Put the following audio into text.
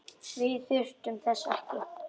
Við þurfum þess ekki.